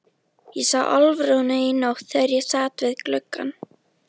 Ég sá Álfrúnu í nótt þegar ég sat við gluggann.